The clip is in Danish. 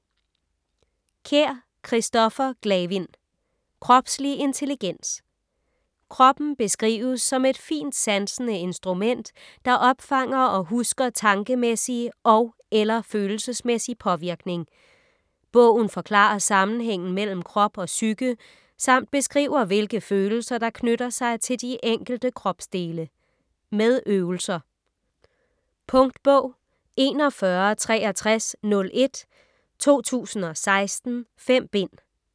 Kjær, Kristoffer Glavind: Kropslig intelligens Kroppen beskrives som et fintsansende instrument, der opfanger og husker tankemæssig og/eller følelsesmæssig påvirkning. Bogen forklarer sammenhængen mellem krop og psyke, samt beskriver hvilke følelser, der knytter sig til de enkelte kropsdele. Med øvelser. Punktbog 416301 2016. 5 bind.